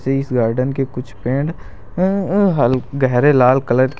इस गार्डेन के कुछ पेड़ अह अह हल गहरे लाल कलर के--